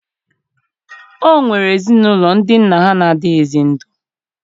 O nwere ezinụlọ ndị nna ha na-adịghịzị ndụ